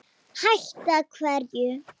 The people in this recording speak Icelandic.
Hætta hverju?